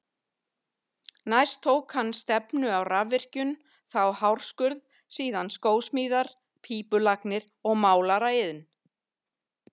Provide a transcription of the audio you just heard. Næst tók hann stefnu á rafvirkjun, þá hárskurð, síðan skósmíðar, pípulagnir og málaraiðn.